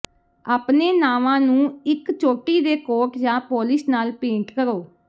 ਆਪਣੇ ਨਾਵਾਂ ਨੂੰ ਇੱਕ ਚੋਟੀ ਦੇ ਕੋਟ ਜਾਂ ਪੋਲਿਸ਼ ਨਾਲ ਪੇਂਟ ਕਰੋ